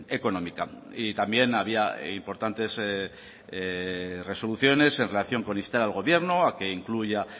económica y también había importantes resoluciones en relación con instar al gobierno a que incluya